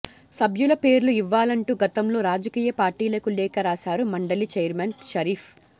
సభ్యుల పేర్లు ఇవ్వాలంటూ గతంలో రాజకీయ పార్టీలకు లేఖ రాశారు మండలి ఛైర్మన్ షరీఫ్